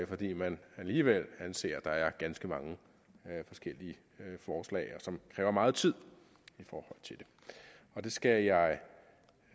fordi man alligevel anser det for ganske mange forskellige forslag som kræver meget tid og det skal jeg